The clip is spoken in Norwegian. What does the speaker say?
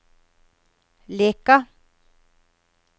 Leka